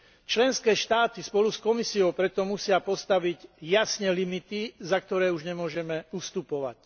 Členské štáty spolu s Komisiou preto musia postaviť jasné limity, za ktoré už nemôžeme ustupovať.